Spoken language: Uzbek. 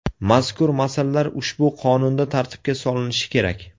Mazkur masalalar ushbu qonunda tartibga solinishi kerak.